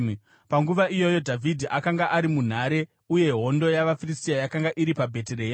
Panguva iyoyo Dhavhidhi akanga ari munhare, uye hondo yavaFiristia yakanga iri paBheterehema.